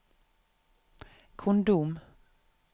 kondom